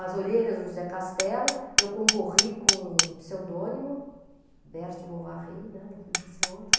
As orelhas do José Castelo, eu concorri com o pseudônimo, Berti Bovary, né, não podia ser outro.